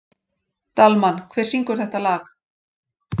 Dalmann, hver syngur þetta lag?